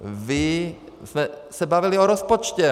My jsme se bavili o rozpočtu.